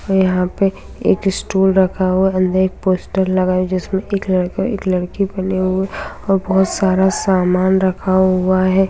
यहां पे एक स्टूल रखा हुआ है अंदर एक पोस्टर लगा है जिसमें एक लड़का और एक लडकी बने हुए और बहुत सारा सामान रखा हुआ है ।